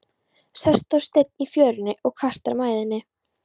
Sest á stein í fjörunni og kastar mæðinni.